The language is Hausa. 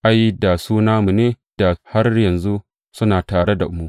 Ai, da su namu ne, da har yanzu suna tare da mu.